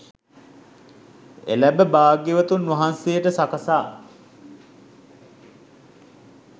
එළැඹ භාග්‍යවතුන් වහන්සේට සකසා